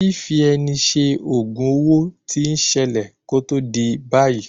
Fífi ẹni ṣe ògùn owo tí ń ṣẹlẹ̀ kó tó di ìgbàyí.